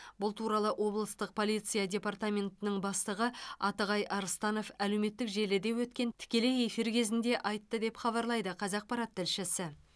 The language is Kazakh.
бұл туралы облыстық полиция департаментінің бастығы атығай арыстанов әлеуметтік желіде өткен тікелей эфир кезінде айтты деп хабарлайды қазақпарат тілшісі